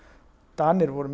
Danir voru